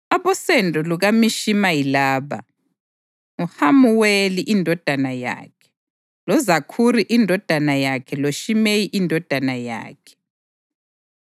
Abosendo lukaMishima yilaba: nguHamuweli indodana yakhe, loZakhuri indodana yakhe loShimeyi indodana yakhe.